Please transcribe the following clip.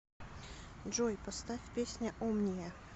джой поставь песня омния